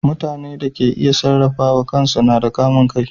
Mutane da ke iya sarrafawa kan su na da kamun kai.